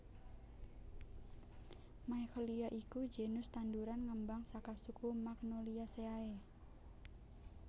Michelia iku genus tanduran ngembang saka suku Magnoliaceae